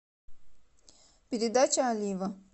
передача олива